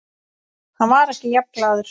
Hann var ekki jafn glaður.